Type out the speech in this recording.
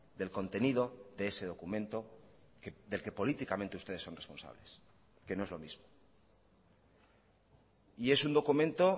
del contenido de ese documento del que políticamente ustedes son responsables que no es lo mismo y es un documento